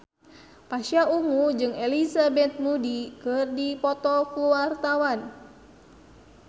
Pasha Ungu jeung Elizabeth Moody keur dipoto ku wartawan